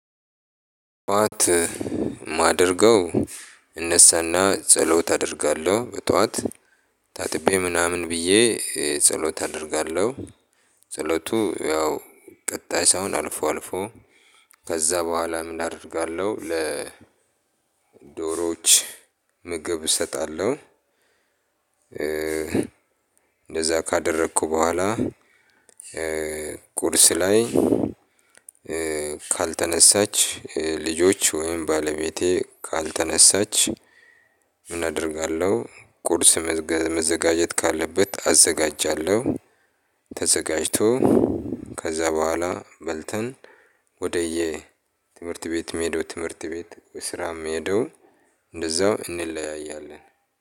ጠዋት የማደርገው እነሳና ጸሎት አደርጋለሁ በጠዋት ታጥቤ ምናምን ብዬ ጸሎት አደርጋለሁ። ጸሎቱ ያው ቀጣይ ሰው አልፎ አልፎ ከዛ በኋላ ምን አደርጋለሁ ለ ዶሮዎች ምግብ እሰጣለሁ። እንደዛ ካደረኩ በኋላ ቁርስ ላይ ካልተነሳች ልጆች ወይም ባለቤቴ ካልተነሳች አደርጋለሁ ቁርስ መዘጋጀት ካለበት አዘጋጃለሁ። ተዘጋጅቶ ከዛ በኋላ በልተን ወደየ ትምህርት ቤት የምሄደው ትምህርት ቤት ስራ የምሄደው እንደዛው እንለያያለን።